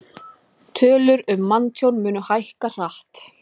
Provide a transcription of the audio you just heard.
Tölur um manntjón munu hækka hratt